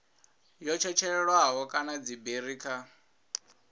yo tshetshelelwaho kana dziberi kha